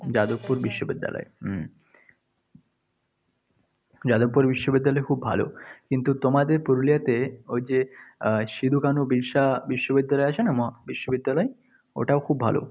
যাদবপুর বিশ্ববিদ্যালয়। হম যাদবপুর বিশ্ববিদ্যালয় খুব ভালো। কিন্তু তোমাদের পুরুলিয়াতে ওই যে সিধু-কানু বিরশা বিশ্ববিদ্যালয় আছে না, মহাবিশ্ববিদ্যালয়? ওটাও খুব ভালো।